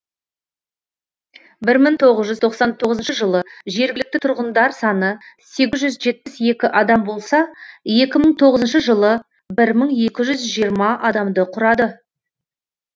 бір мың тоғыз жүз тоқсан тоғызыншы жылы жергілікті тұрғындар саны сегіз жүз жетпіс екі адам болса екі мың тоғызыншы жылы бір мың екі жүз жиырма адамды құрады